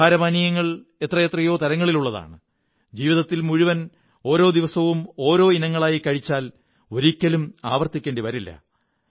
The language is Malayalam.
ആഹാരപാനീയങ്ങൾ എത്രയെത്രയോ തരങ്ങളിലാണുള്ളത് ജീവിതം മുഴുവൻ ഓരോ ദിവസം ഓരോ ഇനങ്ങളായി കഴിച്ചാൽ ഒരിക്കലും ആവര്ത്തിുക്കേണ്ടി വരില്ല